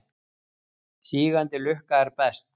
Sígandi lukka er best.